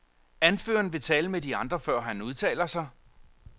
Anføreren vil tale med de andre, før han udtaler sig.